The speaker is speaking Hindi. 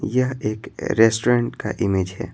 यह एक रेस्टोरेंट का इमेज है।